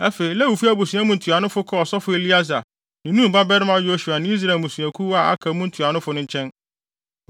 Afei, Lewifo abusua mu ntuanofo kɔɔ ɔsɔfo Eleasar ne Nun babarima Yosua ne Israel mmusuakuw a aka mu ntuanofo no nkyɛn.